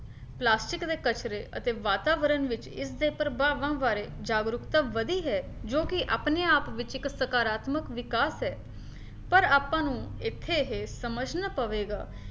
plastic ਦੇ ਕਚਰੇ ਅਤੇ ਵਾਤਾਵਰਨ ਵਿੱਚ ਇਸਦੇ ਪ੍ਰਭਾਵਾਂ ਬਾਰੇ ਜਾਗਰੂਕਤਾ ਵਧੀ ਹੈ ਜੀ ਕੀ ਆਪਣੇ ਆਪ ਵਿੱਚ ਇੱਕ ਸਕਾਰਤਮਕ ਵਿਕਾਸ ਹੈ ਪਰ ਆਪਾਂ ਨੂੰ ਇੱਥੇ ਇਹ ਸਮਝਣਾ ਪਵੇਗਾ